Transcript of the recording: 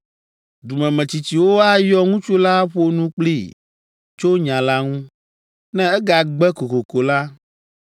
“Dumemetsitsiwo ayɔ ŋutsu la aƒo nu kplii tso nya la ŋu. Ne egagbe kokoko la,